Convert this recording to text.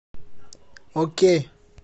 окей